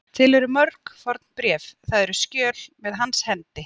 Til eru mörg fornbréf, það eru skjöl, með hans hendi.